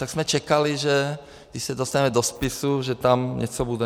Tak jsme čekali, že když se dostaneme do spisu, že tam něco bude.